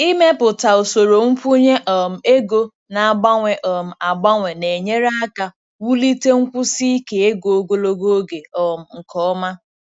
Ịmepụta usoro nkwụnye um ego na-agbanwe um agbanwe na-enyere aka wulite nkwụsi ike ego ogologo oge um nke ọma.